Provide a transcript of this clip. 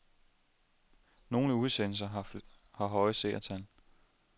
Nogle udsendelser har høje seertal.